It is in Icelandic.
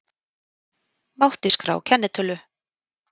Mátti skrá kennitölu